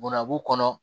Bɔnnabu kɔnɔ